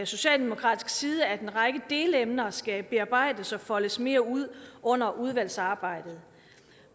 socialdemokratisk side at en række delemner skal bearbejdes og foldes mere ud under udvalgsarbejdet